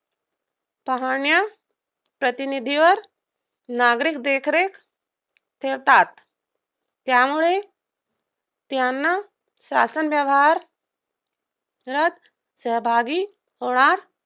पाहण्याऱ्या प्रतिनिधीवर नागरिक देखरेख ठेवतात. त्यामुळे त्यांना शासन व्यवहारात सहभागी